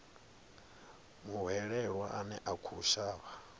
muhwelelwa ane a khou shavha